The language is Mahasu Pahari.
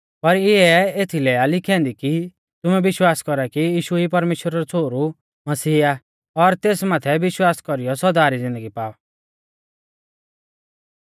पर इऐ एथीलै आ लिखी ऐन्दी कि तुमै विश्वास कौरा कि यीशु ई परमेश्‍वरा रौ छ़ोहरु मसीह आ और तेस माथै विश्वास कौरीयौ सौदा री ज़िन्दगी पाऔ